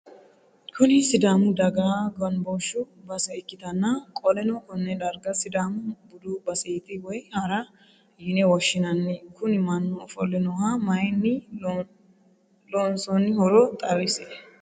Kuni sidaamu daga ganbooshu base ikkitanna qoleno konne dargga sidaamu budu baseeti woyi hara yine woshshsinanni Kuni mannu ofolle nooha mayiinni lonsoinnihoro xawisie?